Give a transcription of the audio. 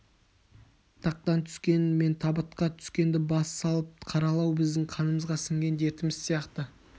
тақтан түскен мен табытқа түскенді бас салып қаралау біздің қанымызға сіңген дертіміз сияқты